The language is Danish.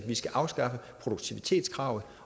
skal afskaffe produktivitetskravet